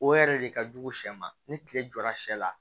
O yɛrɛ de ka jugu sɛn ma ni tile jɔra sɛ la